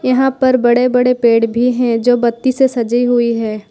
यहां पर बड़े बड़े पेड़ भी हैं जो बत्ती से सजी हुई है।